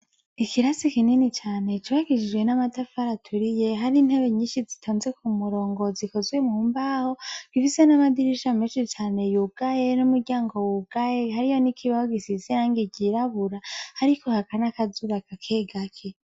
Ikirasi kinini cane cubakishijwe n'amatafari aturiye hari intebe nyinshi zitonze ku murongo zikozwe mumbaho kifise n'amadirisha menshi cane yugaye n'umuryango wugaye hari yo n'ikibaho gisize irangi ryirabura, ariko haka nakazuba kake gake.